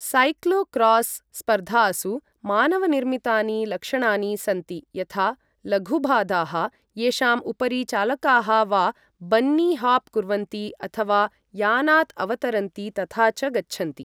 Cyclocross स्पर्धासु मानवनिर्मितानि लक्षणानि सन्ति यथा लघुबाधाः येषां उपरि चालकाः वा बन्नी हाप् कुर्वन्ति अथ वा यानात् अवतरन्ति तथा च गच्छन्ति।